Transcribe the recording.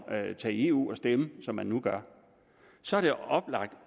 at tage i eu og stemme som man nu gør så er det oplagt